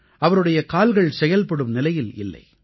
அவருடைய கால்கள் செயல்படும் நிலையில் இல்லை